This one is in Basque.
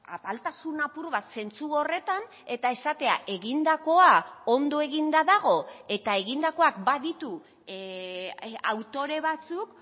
apaltasun apur bat zentzu horretan eta esatea egindakoa ondo eginda dago eta egindakoak baditu autore batzuk